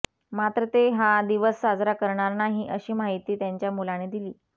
मात्र ते हा दिवस साजरा करणार नाही अशी माहिती त्यांच्या मुलाने दिली